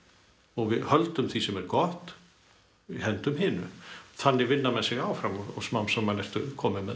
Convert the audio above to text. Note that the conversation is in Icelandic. og við höldum því sem er gott hendum hinu þannig vinna menn sig áfram og smám saman ertu kominn með